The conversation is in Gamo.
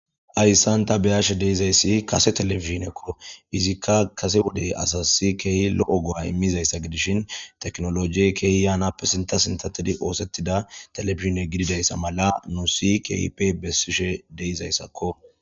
Hayssan ta be'ashe de'izayssi kase televisionoko; izikka kase wode asasi keehi lo'o go'a imiizaysa gidishin teknolojey keehi yaanappe sintta sintatidi oosetida televisione gididaysa mala nuusi keehippe beesishe de'izayssako.